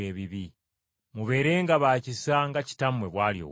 Mubeerenga ba kisa nga Kitammwe bw’ali ow’ekisa.”